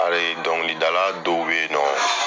dɔnkilidala dɔw bɛ ye nɔ.